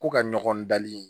Ko ka ɲɔgɔn dali